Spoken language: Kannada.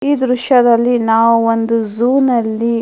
ಈ ದೃಶ್ಯದಲ್ಲಿ ನಾವು ಒಂದು ಜೂ ನಲ್ಲಿ --